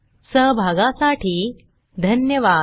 सहभागासाठी धन्यवाद